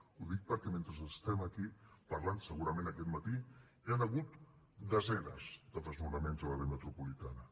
ho dic perquè mentre estem aquí parlant segurament aquest matí hi han hagut desenes de desnonaments a l’àrea metropolitana